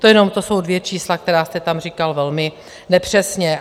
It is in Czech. To jenom, to jsou dvě čísla, která jste tam říkal velmi nepřesně.